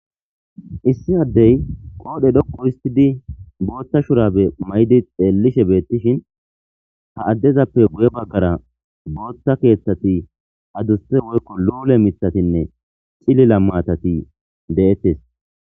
Issi addey qoodhe dhokqo histidi boothta shurabe may'di xeellishe beettishin ha addezappe guye baggara booththa keeththati aduste woykko loole mithatinne cilila matati de'ette.